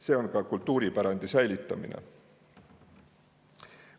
See on ka kultuuripärandi säilitamine.